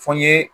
Fɔ n ye